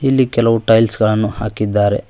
ಇಲ್ಲಿ ಕೆಲವು ಟೈಲ್ಸ್ ಗಳನ್ನು ಹಾಕಿದ್ದಾರೆ.